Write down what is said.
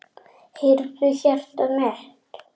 Heyrðu, hjartað mitt.